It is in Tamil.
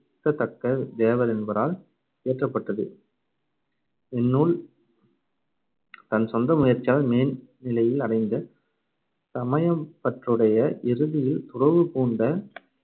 திருத்ததக்கத் தேவர் என்பாரால் இயற்றப்பட்டது. இந்நூல் தன் சொந்த முயற்சியால் மேந்நிலையில் அடைந்த சமயப்பற்றுடைய, இறுதியில் துறவுபூண்ட